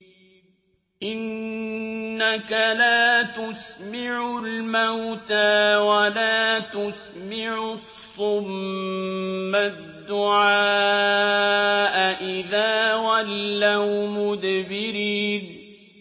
إِنَّكَ لَا تُسْمِعُ الْمَوْتَىٰ وَلَا تُسْمِعُ الصُّمَّ الدُّعَاءَ إِذَا وَلَّوْا مُدْبِرِينَ